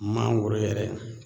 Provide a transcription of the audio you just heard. Mangoro yɛrɛ